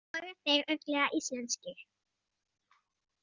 Voru þeir örugglega íslenskir?